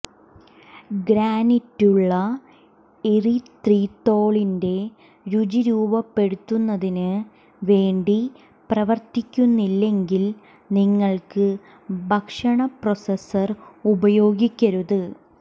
ഗ്രാനിറ്റുള്ള എറിത്രിത്തോളിന്റെ രുചി രൂപപ്പെടുത്തുന്നതിന് വേണ്ടി പ്രവർത്തിക്കുന്നില്ലെങ്കിൽ നിങ്ങൾക്ക് ഭക്ഷണ പ്രോസസർ ഉപയോഗിക്കരുത്